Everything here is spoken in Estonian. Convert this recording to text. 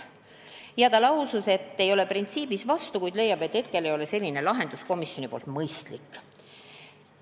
Maris Lauri lausus, et ei ole printsiibis vastu, kuid leiab, et praegu ei ole selline lahendus komisjoni otsusel mõistlik.